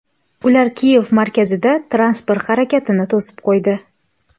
Ular Kiyev markazida transport harakatini to‘sib qo‘ydi.